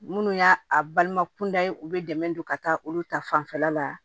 Minnu y'a a balima kunda u bɛ dɛmɛ don ka taa olu ta fanfɛla la